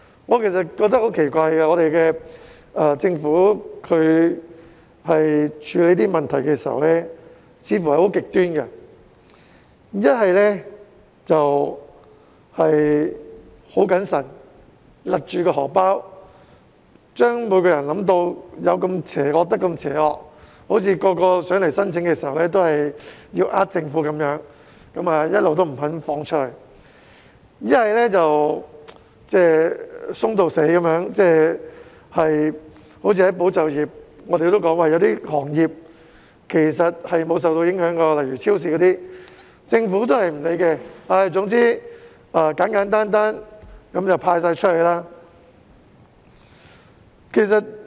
我覺得很奇怪，政府處理這些問題時似乎很極端，要不就非常謹慎，勒緊"荷包"，將每個人都想得是極邪惡，好像每個申請援助的人都是要欺騙政府，所以一直不肯批出申請；要不就"鬆到死"，好像"保就業"一樣，我們已指出有些行業其實沒有受到影響，例如超市，但政府不予理會，總之簡簡單單"派錢"出去便算。